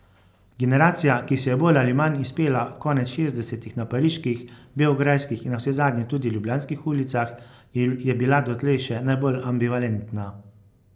Generacija, ki se je bolj ali manj izpela konec šestdesetih na pariških, beograjskih in navsezadnje tudi ljubljanskih ulicah, je bila dotlej še najbolj ambivalentna.